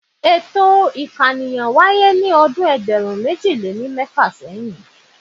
Ètò ìkànìyàn wáyé ní ọdún ẹgbẹ̀rún méjì lé ní mẹ́fà.